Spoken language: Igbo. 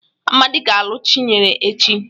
Amadị ga-alụ Chinyere echi.